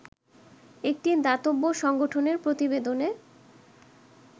একটি দাতব্য সংগঠনের প্রতিবেদনে